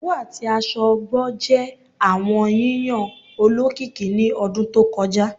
Owu ati aṣọ ọgbọ jẹ awọn yiyan olokiki ni ọdun to kọja